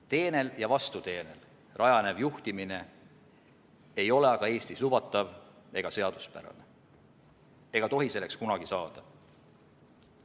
Teenel ja vastuteenel rajanev juhtimine ei ole aga Eestis lubatav ega seaduspärane, ei tohi selleks ka kunagi saada.